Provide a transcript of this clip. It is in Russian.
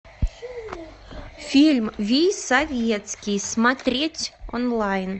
фильм вий советский смотреть онлайн